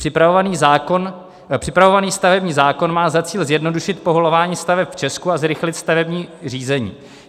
Připravovaný stavební zákon má za cíl zjednodušit povolování staveb v Česku a zrychlit stavební řízení.